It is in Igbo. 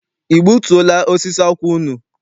I gbutuo la osisi akwụ unu?